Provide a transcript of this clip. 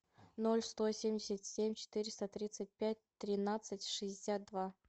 ноль сто семьдесят семь четыреста тридцать пять тринадцать шестьдесят два